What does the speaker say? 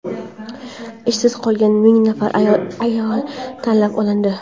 ishsiz qolgan ming nafar ayol tanlab olindi.